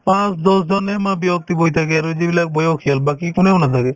পাঁচ দহ জনে ব্যক্তি বহি থাকে আৰু যিবিলাক বয়সীয়াল বাকি কোনেও নাথাকে